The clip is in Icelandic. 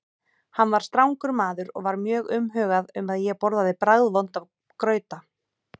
Hann var strangur maður og var mjög umhugað um að ég borðaði bragðvonda grauta.